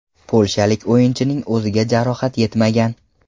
Polshalik o‘yinchining o‘ziga jarohat yetmagan.